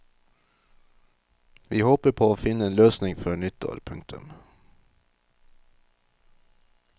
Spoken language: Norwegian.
Vi håper på å finne en løsning før nyttår. punktum